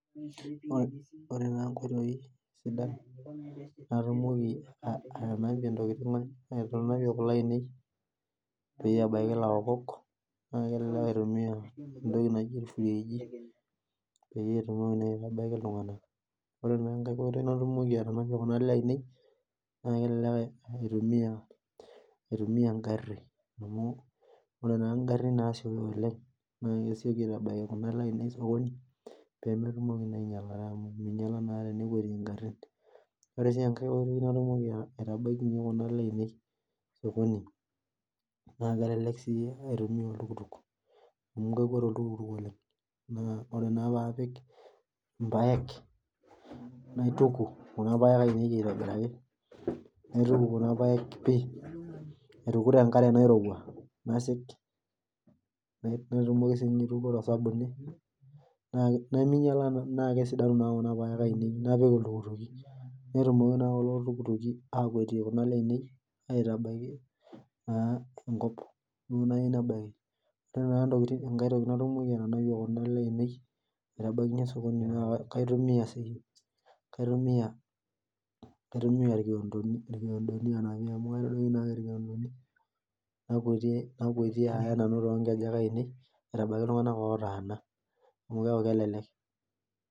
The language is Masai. Ore taa nkoitoi sidan natumoki atanapie kule ainei ebaki laokok na kebaki nepiki irfrigi ,ore na enkai oitoi natumoki atanapie kule ainei na kelelek aitumia engari amu ore ngarin nasioyo oleng na kesieiki aitabaya osokoni ore enkai oitoi naidim aitabayie kuna aale ainei osokoni na kelelek si aitumia oltukutuk na ore na papik irpaek naituku kuna paek ainei aitobiraki naituku tenkare nairowuo naituku tosabuni nakesidanu kuna paek ainei napik iltukutuki mekwatie aitabaki enkop ore enkae toki naidim atanapie kuna aale ainei na kaitumia si irkiondoni anapie amu kaitadoki nakwatie ayaki ltunganak otaana neaku kelelek